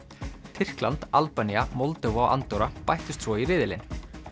Tyrkland Albanía Moldóva og Andorra bættust svo í riðilinn